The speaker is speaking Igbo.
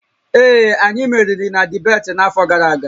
Ee, anyị meriri na dibeeti n'afọ gara aga